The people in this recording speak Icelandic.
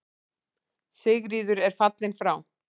Sigríður er fallin frá.